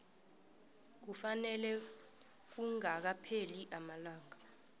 kufanele kungakapheli amalanga